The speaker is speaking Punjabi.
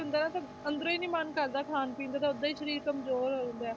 ਹੁੰਦਾ ਨਾ ਤਾਂ ਅੰਦਰੋਂ ਹੀ ਨੀ ਮਨ ਕਰਦਾ ਖਾਣ ਪੀਣ ਦਾ ਤਾਂ ਓਦਾਂ ਹੀ ਸਰੀਰ ਕੰਮਜ਼ੋਰ ਹੋ ਜਾਂਦਾ ਹੈ,